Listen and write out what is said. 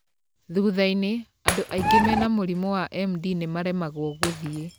Thutha-inĩ, andũ aingĩ mena mũrimũ wa MD nĩmaremagwo gũthiĩ.